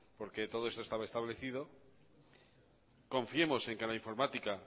porque todo esto estaba establecido confiemos en que la informática